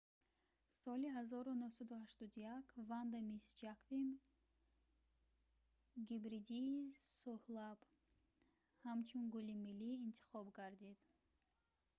соли 1981 ванда мисс ҷаквим гибридии сӯҳлаб ҳамчун гули миллӣ интихоб гардид